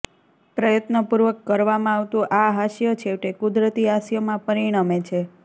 પ્રયત્નપૂર્વક કરવામાં આવતું આ હાસ્ય છેવટે કુદરતી હાસ્યમાં પરિણમે છે